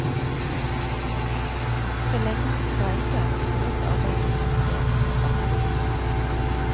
Så lenge hun streiker, hindres arbeidet i komitéen kraftig.